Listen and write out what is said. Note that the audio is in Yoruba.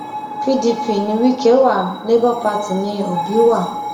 pdp ni wike wa labour party ní òbí wa